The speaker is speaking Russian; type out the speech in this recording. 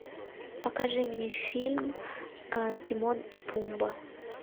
покажи мне фильм тимон и пумба